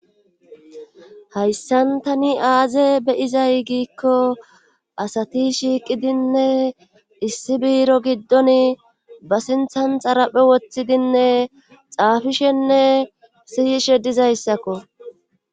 hayssan tani aaze be'izay giikko asati shiiqidinne issi biiro giddoni ba sinthan xaraphphe woththidinne xaafishenne siyishe dizayssakko